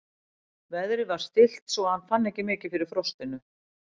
Veðrið var stillt svo að hann fann ekki mikið fyrir frostinu.